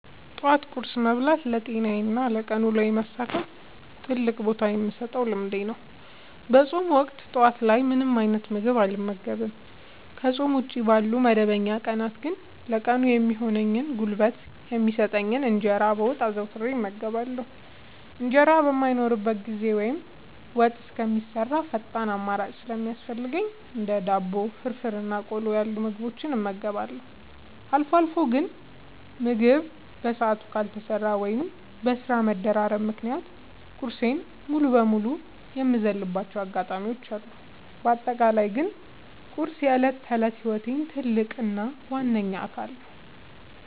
ጠዋት ቁርስ መብላት ለጤናዬና ለቀን ውሎዬ መሳካት ትልቅ ቦታ የምሰጠው ልምዴ ነው። በፆም ወቅት ጠዋት ላይ ምንም አይነት ምግብ አልመገብም። ከፆም ውጪ ባሉ መደበኛ ቀናት ግን ለቀኑ የሚሆን ጉልበት የሚሰጠኝን እንጀራ በወጥ አዘውትሬ እመገባለሁ። እንጀራ በማይኖርበት ጊዜ ወይም ወጥ እስከሚሰራ ፈጣን አማራጭ ሲያስፈልገኝ እንደ ዳቦ፣ ፍርፍር እና ቆሎ ያሉ ምግቦችን እመገባለሁ። አልፎ አልፎ ግን ምግብ በሰዓቱ ካልተሰራ ወይም በስራ መደራረብ ምክንያት ቁርሴን ሙሉ በሙሉ የምዘልባቸው አጋጣሚዎች አሉ። በአጠቃላይ ግን ቁርስ የዕለት ተዕለት ህይወቴ ትልቅ እና ዋነኛ አካል ነው።